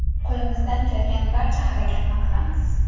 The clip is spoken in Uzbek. Qo‘limizdan kelgan barcha harakatni qilamiz.